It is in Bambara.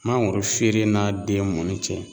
Mangoro feere n'a den mɔni cɛ